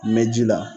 Mɛ ji la